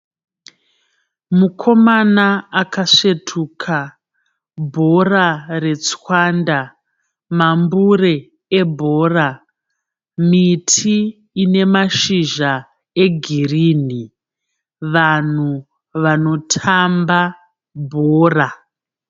Mukomana akasvetuka bhora retswanda mambure ebhora miti ine mashizha egirini vanhu vanotamba bhora.